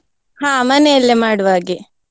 ಹಾ ಮನೆಯಲ್ಲೇ ಮಾಡುವ ಹಾಗೆ.